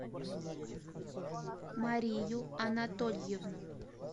марию анатольевну